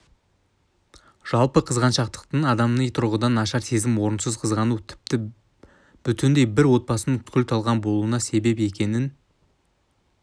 жалпы қызғаншақтық адами тұрғыдан нашар сезім орынсыз қызғану тіпті бүтіндей бір отбасының күл-талқан болуына себеп екенін